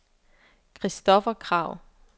Christopher Kragh